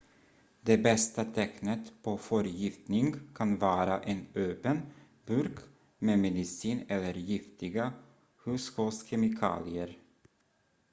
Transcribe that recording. det bästa tecknet på förgiftning kan vara en öppen burk med medicin eller giftiga hushållskemikalier